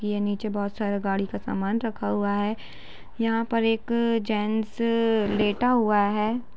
ये नीचे बहोत सारा गाड़ी का सामान रखा हुआ है। यहां पर एक जेन्ट्स लेटा हुआ है।